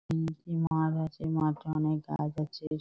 তিনটি মাঠ আছে মাঠে অনেক গাছ আছে।